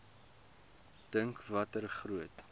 dink watter groot